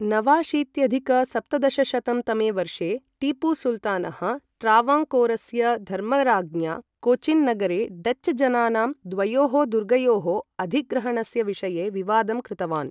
नवाशीत्यधिक सप्तदशशतं तमे वर्षे, टीपुसुल्तानः, ट्रावङ्कोरस्य धर्मराज्ञा कोचिन् नगरे डच्च जनानां द्वयोः दुर्गयोः अधिग्रहणस्य विषये विवादं कृतवान्।